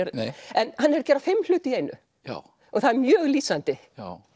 en hann er að gera fimm hluti í einu og það er mjög lýsandi